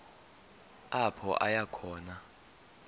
apho aya khona